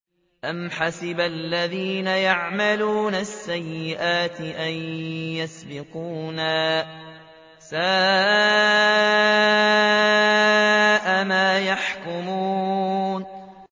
أَمْ حَسِبَ الَّذِينَ يَعْمَلُونَ السَّيِّئَاتِ أَن يَسْبِقُونَا ۚ سَاءَ مَا يَحْكُمُونَ